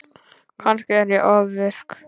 Kannski er ég ofvirk.